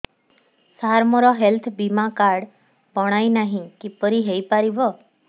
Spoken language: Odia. ସାର ମୋର ହେଲ୍ଥ ବୀମା କାର୍ଡ ବଣାଇନାହିଁ କିପରି ହୈ ପାରିବ